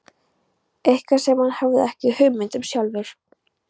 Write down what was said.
Eitthvað sem hann hafði ekki hugmynd um sjálfur.